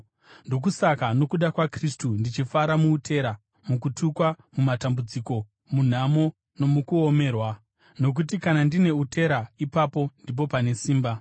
Ndokusaka, nokuda kwaKristu ndichifara muutera, mukutukwa, mumatambudziko, munhamo, nomukuomerwa. Nokuti kana ndine utera, ipapo ndipo pandine simba.